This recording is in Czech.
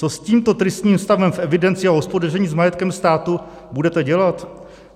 Co s tímto tristním stavem v evidenci a hospodaření s majetkem státu budete dělat?